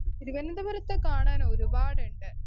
Speaker 1 തിരുവനന്തപുരത്ത് കാണാനൊരുപാടുണ്ട്.